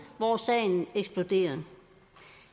hvor sagen er eksploderet